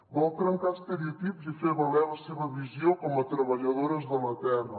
vol trencar estereotips i fer valer la seva visió com a treballadores de la terra